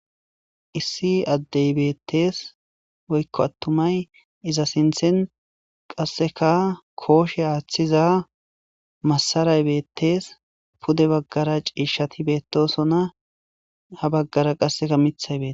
Issi addey beettees .Woykko attumay iza sinthen qasseka kushe aaththiza masaray beettees .Pude baggara ciishati beettosona. Ha baggara qasseka mithay beetees.